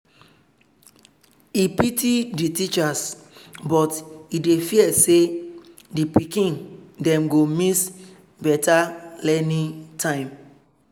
e pity the teachers but e dey fear say the pikin dem go miss better learning time.